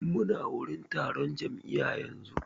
Mu na wurin taron jam'iya yanzu